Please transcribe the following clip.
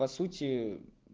по сути